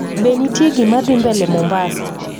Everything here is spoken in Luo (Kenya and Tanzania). be nitie gima dhimbele mombasa